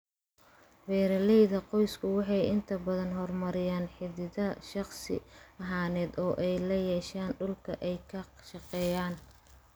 Beeralayda qoysku waxay inta badan horumariyaan xidhiidh shakhsi ahaaneed oo ay la yeeshaan dhulka ay ka shaqeeyaan.